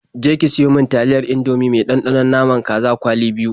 Je ki siyo mi taliyar Indomie mai ɗanɗanon naman kaza kwali biyu.